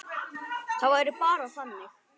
Það væri bara þannig.